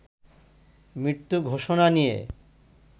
মৃত্যু ঘোষণা নিয়ে